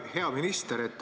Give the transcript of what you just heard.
Hea minister!